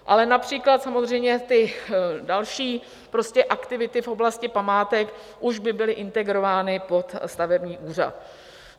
Ale například samozřejmě ty další aktivity v oblasti památek už by byly integrovány pod stavební úřad.